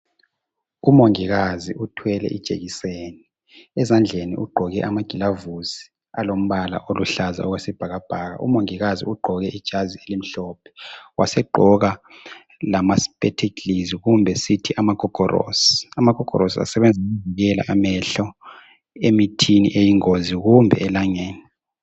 umongikazi uthwele ijekiseni ezandleni ugqoke amagilavusi alombala oluhlaza okwesibhabhaka umongikazi ugqoke ijazi elimhlophe wasegqoka lama spectacles kumbe sithi amagogorosi amagogorosi asebenza ukuvikela amehlo emithini eyingozi kumbe elangeni